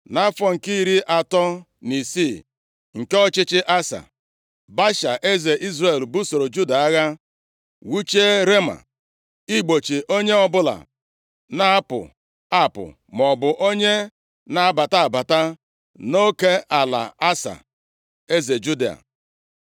Nʼafọ nke iri atọ na isii nke ọchịchị Asa, Baasha eze Izrel, busoro Juda agha, wuchie Rema igbochi onye ọbụla na-apụ apụ maọbụ onye na-abata abata nʼoke ala Asa, eze Juda.